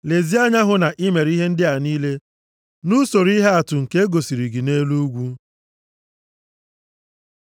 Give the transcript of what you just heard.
Lezie anya hụ na i mere ihe ndị a niile nʼusoro ihe atụ nke e gosiri gị nʼelu ugwu.